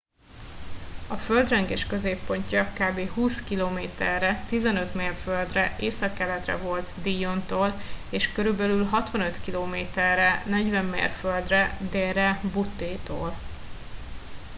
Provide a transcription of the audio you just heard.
a földrengés középpontja kb. 20 km-re 15 mérföldre északkeletre volt dillontól és körülbelül 65 km-re 40 mérföldre délre butte-től